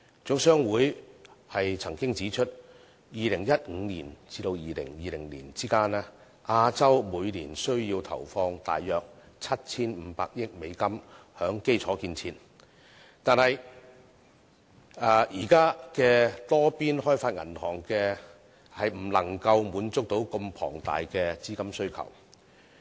總商會曾指出，在2015年至2020年間，亞洲每年需要投放約 7,500 億美元於基礎建設，但現有的多邊開發銀行未能滿足這麼龐大的資金需求。